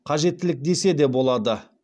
қажеттілік десе де болады